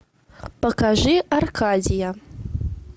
покажи аркадия